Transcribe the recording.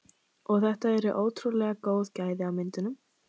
Og þetta eru ótrúlega góð gæði á myndunum?